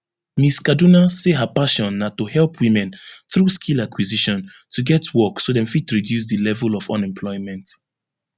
miss kaduna say her passion na to help women through skill acquisition to get work so dem fit reduce di level of unemployment